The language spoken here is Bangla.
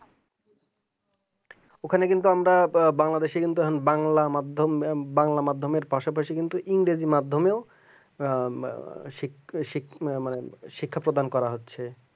ওখানে কিন্তু আমরা বাংলাদেশের বাংলা মাধ্যম বাংলা মাধ্যমের পাশাপাশি কিন্তু ইংরেজি মাধ্যমে ইয়া মানে শিক্ষা শিক্ষা প্রদান করা হচ্ছে